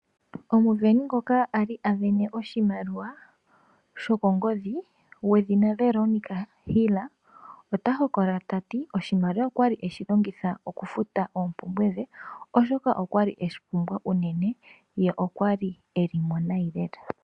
Omusindani ngoka ali asindana oshimaliwa shokongodhi gwedhina Veronica Hill, ota hokolola tati, oshimaliwa okwali eshilongitha okufuta oompumbwe dhe oshoka okwali eshipumbwa uunene ye okwali elimo nayi lela.